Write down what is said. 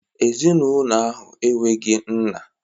Ezinụlọ ahụ enweghị nna